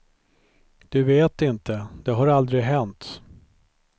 Du vet inte, det har aldrig hänt.